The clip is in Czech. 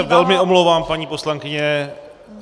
Já se velmi omlouvám, paní poslankyně.